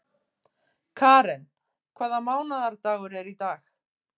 Karen, hvaða mánaðardagur er í dag?